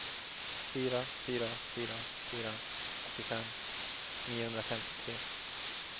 fyra fyra fyra fyra åttiofem niohundrafemtiotre